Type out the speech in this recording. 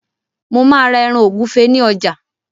Mo má́a ra ẹran ògúfe ní ọjà.